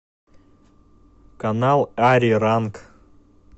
канал ариранг